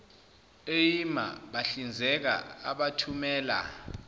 eima bahlinzeka abathumela